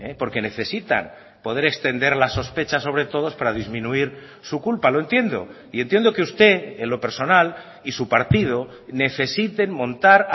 porque necesitan poder extender la sospecha sobre todos para disminuir su culpa lo entiendo y entiendo que usted en lo personal y su partido necesiten montar